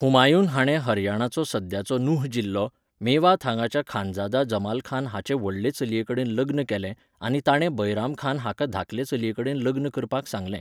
हुमायून हाणें हरियाणाचो सद्याचो नुह जिल्लो, मेवात हांगाच्या खांजादा जमालखान हाचे व्हडले चलयेकडेन लग्न केलें आनी ताणें बैरामखान हाका धाकले चलयेकडेन लग्न करपाक सांगलें.